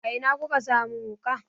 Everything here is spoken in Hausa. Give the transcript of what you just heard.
A ina ku ka sa mun wuƙa?